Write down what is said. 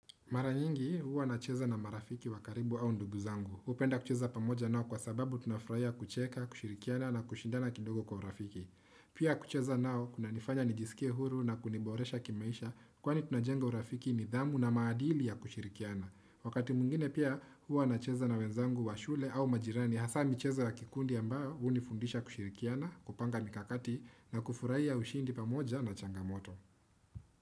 Mara nyingi huwa nacheza na marafiki wa karibu au ndugu zangu. Hupenda kucheza pamoja nao kwa sababu tunafurahia kucheka, kushirikiana na kushindana kidogo kwa urafiki. Pia kucheza nao kuna nifanya nijisikie huru na kuniboresha kimaisha kwani tunajenga urafiki nidhamu na maadili ya kushirikiana. Wakati mwingine pia huwa nacheza na wenzangu wa shule au majirani hasa michezo ya kikundi ambao hunifundisha kushirikiana, kupanga mikakati na kufurahia ushindi pamoja na changamoto.